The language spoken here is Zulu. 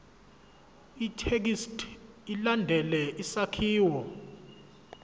ithekisthi ilandele isakhiwo